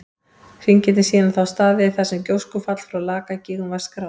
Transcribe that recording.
Hringirnir sýna þá staði þar sem gjóskufall frá Lakagígum var skráð.